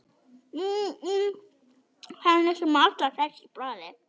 Hann sem er alltaf hress í bragði.